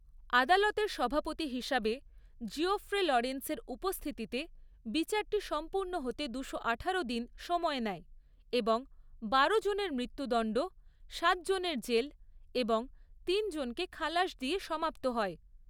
আদালতের সভাপতি হিসাবে জিওফ্রে লরেন্সের উপস্থিতিতে, বিচারটি সম্পূর্ণ হতে দুশো আঠারো দিন সময় নেয় এবং বারো জনের মৃত্যুদণ্ড, সাত জনের জেল এবং তিন জনকে খালাস দিয়ে সমাপ্ত হয়।